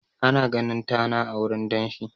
Ana ganin tana a wurin danshi.